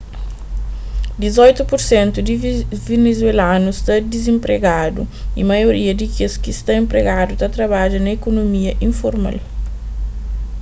dizoitu pur sentu di venezuelanus sta dizenpregadu y maioria di kes ki sta enpregadu ta trabadja na ikunomia informal